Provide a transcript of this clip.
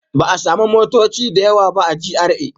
Ba a sami motoci da yawa ba a GRA